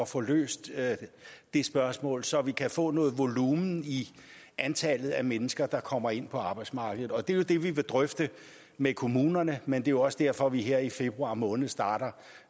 få løst det spørgsmål så vi kan få noget volumen i antallet af mennesker der kommer ind på arbejdsmarkedet og det er jo det vi vil drøfte med kommunerne men det er også derfor at vi her i februar måned starter